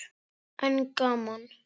En gaman!